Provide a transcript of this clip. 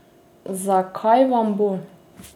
Za kaj vam bo?